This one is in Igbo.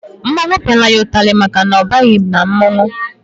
Mmọnwụ piara ya itari maka na ọ baghi na mmọnwụ